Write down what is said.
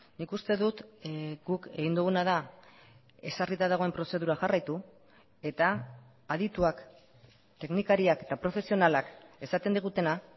nik uste dut guk egin duguna da ezarrita dagoen prozedura jarraitu eta adituak teknikariak eta profesionalak esaten digutena